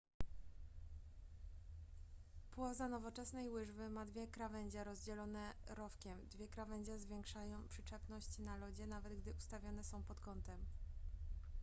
płoza nowoczesnej łyżwy ma dwie krawędzie rozdzielone rowkiem dwie krawędzie zwiększają przyczepność na lodzie nawet gdy ustawione są pod kątem